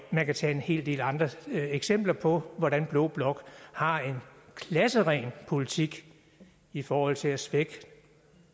man kan tage en hel del andre eksempler på hvordan blå blok har en klasseren politik i forhold til at svække